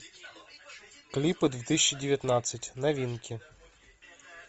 клипы две тысячи девятнадцать новинки